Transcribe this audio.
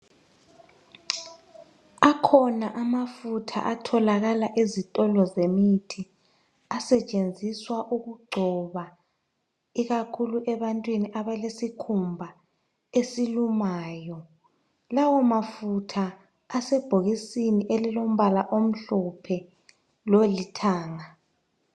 Akhona amafutha atholakala ezitolo zemithi asetshenziswa ukugcoba ikakhulu ebantwini abalesikhumba esilumayo. Lawo mafutha asebhokisini elilombala omhlophe lolithanga.